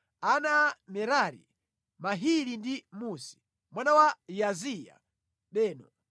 Ana a Merari: Mahili ndi Musi. Mwana wa Yaaziya: Beno.